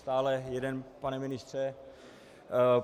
Stále jeden, pane ministře .